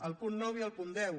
el punt nou i el punt deu